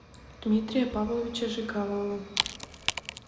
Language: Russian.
дмитрия павловича жигалова